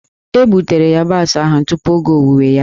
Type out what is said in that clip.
E gbutere yabasị ahụ tupu oge owuwe ya.